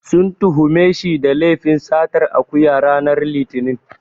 Sun tuhume shi da laifin satar akuya, ranar Litinin.